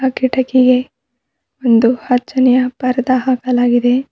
ಕಿಟಕಿಗೆ ಒಂದು ಹಚ್ಚನೆಯ ಪರ್ದ ಹಾಕಲಾಗಿದೆ.